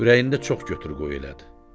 Ürəyində çox götür-qoy elədi.